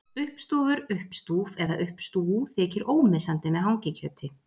Uppstúfur, uppstúf eða uppstú þykir ómissandi með hangikjöti.